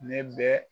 Ne bɛ